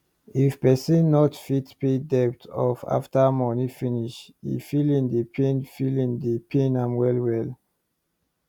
if person not fit pay debt off after money finish e feeling dey pain feeling dey pain well well